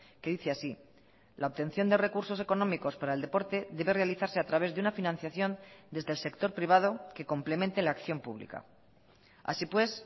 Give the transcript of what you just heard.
que dice así la obtención de recursos económicos para el deporte debe realizarse a través de una financiación desde el sector privado que complemente la acción pública así pues